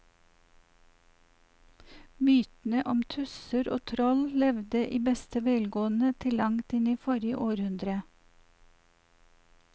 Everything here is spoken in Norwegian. Mytene om tusser og troll levde i beste velgående til langt inn i forrige århundre.